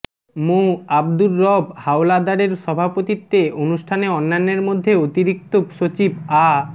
মোঃ আব্দুর রব হাওলাদারের সভাপতিত্বে অনুষ্ঠানে অন্যান্যর মধ্যে অতিরিক্ত সচিব আ